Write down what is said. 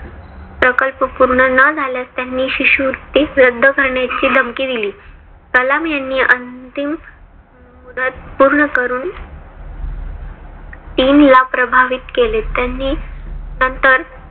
प्रकल्प पूर्ण न झाल्यास त्यांनी शिष्यवृत्ती रद्द करण्याची धमकी दिली. कलाम यांनी अंतिम मुदत पूर्ण करून dean ला प्रभावित केले. त्यांनी नंतर